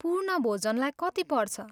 पूर्ण भोजनलाई कति पर्छ?